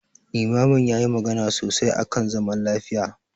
Limamin yayi magana sosai akan zaman lafiya.